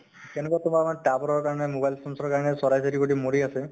তেনেকুৱা তোমাৰ মানে tower ৰ কাৰণে mobile sensor ৰ কাৰণে চৰাই চিৰিকতি মৰি আছে ।